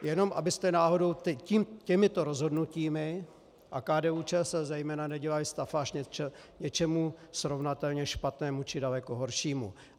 Jenom abyste náhodou těmito rozhodnutími, a KDU-ČSL zejména nedělají stafáž něčemu srovnatelně špatnému či daleko horšímu.